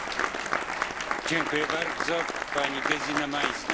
Herr Präsident, liebes Kommissartrio, liebe Kolleginnen und Kollegen!